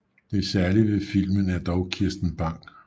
Det særlige ved filmen er dog Kirsten Bang